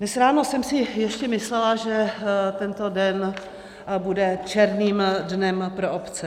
Dnes ráno jsem si ještě myslela, že tento den bude černým dnem pro obce.